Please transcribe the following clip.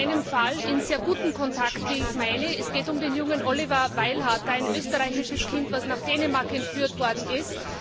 Wir stehen in einem Fall in sehr gutem Kontakt, wie ich meine Es geht um den Jungen Oliver Weilharter, ein österreichisches Kind, das nach Dänemark entführt worden ist.